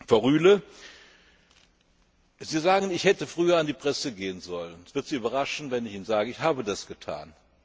Frau Rühle, Sie sagen, ich hätte früher an die Presse gehen sollen. Es wird Sie überraschen, wenn ich Ihnen sage Ich habe das getan.